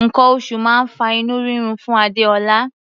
Nǹkan oṣù máa ń fa inú rírun fún Adéọlá.